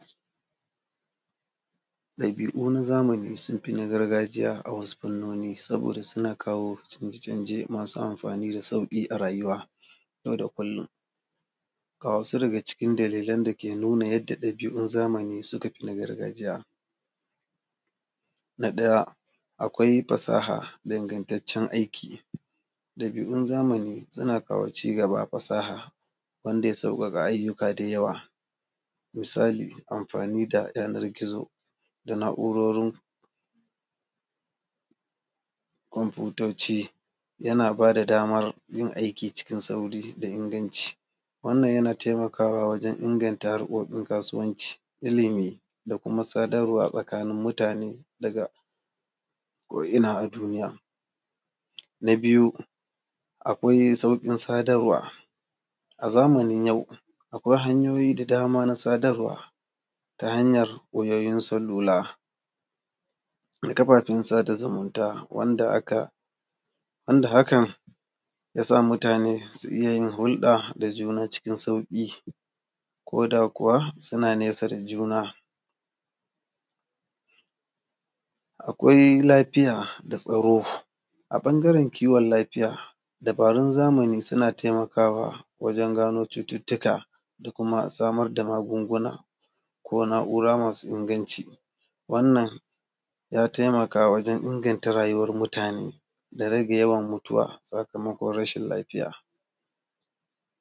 Ɗabi’u na zamani sun fi na gargajiya a wasu fannoni saboda suna kawo canje-canje masu amfani da sauƙi a rayuwa yau da kullum. Ga wasu daga ckin dalilan dake nuna yadda ɗabi’un zamani suka fi na gargajiya: Na ɗaya, akwai fasaha da ingantaccen aiki; ɗabi’un zamani suna ƙawaice ga ba fasaha wanda ya sauƙaƙa ayyuka dayawa, misali amfani da yanar gizo da na’u’rorin komfutoci, yana ba da damar yin aiki cikin sauri da inganci. Wannan yana taimakawa wajen inganta harkokin kasuwanci, ilimi da kuma sadarwa tsakanin mutane daga ko ina a duniya. Na biyu, akwai sauƙin sadarwa: A zamanin yau akwai hanyoyi da dama na sadarwa ta hanyar wayoyin salula da kafafen sada zumunta wanda aka, wanda hakan ya sa mutane su iya yin hulɗa da juna cikin sauƙi ko da kuwa suna nesa da juna. Akwai lafiya da tsaro; a ɓangaren kiwon lafiya, dabarun zamani suna taimakawa wajen gano cututtuka da kuma samar da magunguna ko na’ura masu inganci. Wannan ya taimaka wajen inganta rayuwar mutane da rage yawan mutuwa sakamakon rashin lafiya.